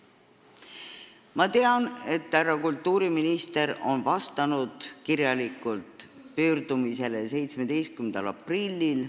Ma tean, et härra kultuuriminister on pöördumisele kirjalikult vastanud 17. aprillil.